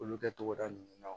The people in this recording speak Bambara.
Olu kɛ togoda ninnu na